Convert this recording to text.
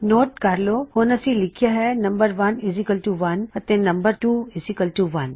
note ਕਰ ਲੋ ਹੁਣ ਅਸੀ ਲਿਖਿਆ ਹੈ ਨੰਮ1 1 ਅਤੇ ਨੰਮ2 1